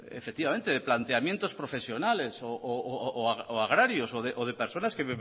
efectivamente el planteamiento profesionales o agrarios o de personas que